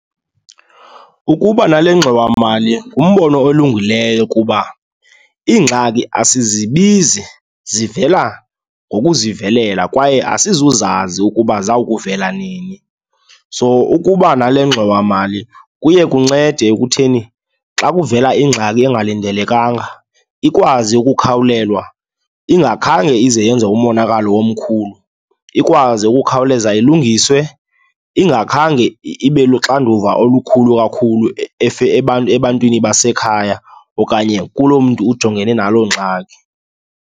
Ukuba nale ngxowamali ngumbono olungileyo kuba iingxaki asizibizi, zivela ngokuzivelela kwaye asizowuzazi ukuba zawukuvela nini. So, ukuba nale ngxowamali kuye kuncede ekutheni, xa kuvela ingxaki engalindelekanga ikwazi ukukhawulelwa ingakhange ize yenze umonakalo omkhulu. Ikwazi ukukhawuleza ilungiswe ingakhange ibe luxanduva olukhulu kakhulu ebantwini basekhaya okanye kuloo mntu ujongene naloo ngxaki.